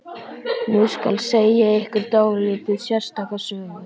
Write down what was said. Nú skal segja ykkur dálítið sérstaka sögu.